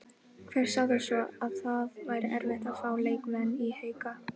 Hver sagði svo að það væri erfitt að fá leikmenn í Hauka?